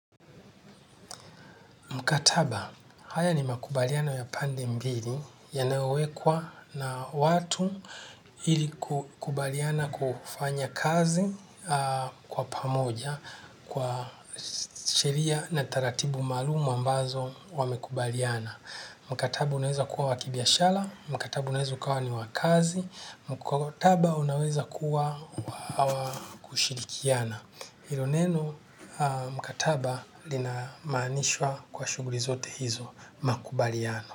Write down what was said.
Mkataba, haya ni makubaliano ya pande mbili yanayowekwa na watu ili kukubaliana kufanya kazi kwa pamoja kwa sheria na taratibu maalumu ambazo wamekubaliana. Mkataba, unaweza kuwa wa kibiashara. Mkataba, unaweza ukawa ni wa kazi. Mkataba, unaweza kuwa kushirikiana. Hilo neno mkataba linamaanishwa kwa shuguli zote hizo makubaliano.